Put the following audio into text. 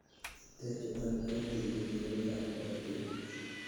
ter chuton en tigitinik ab korotik